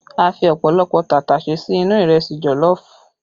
A fi ọ̀pọ̀lọpọ̀ tàtàṣé sí inú ìrẹsì jọ̀lọ́ọ̀fù